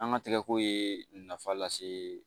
An ka tigɛko ye nafa lase